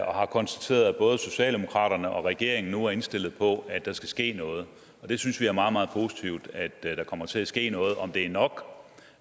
og har konstateret at både socialdemokraterne og regeringen nu er indstillet på at der skal ske noget vi synes det er meget meget positivt at der kommer til at ske noget om det er nok